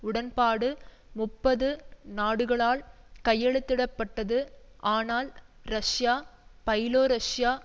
உடன்பாடு முப்பது நாடுகளால் கையெழுத்திட பட்டது ஆனால் ரஷ்யா பைலோரஷ்யா